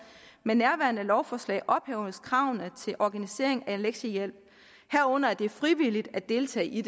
med nærværende lovforslag ophæves kravene til organisering af lektiehjælp herunder at det er frivilligt at deltage i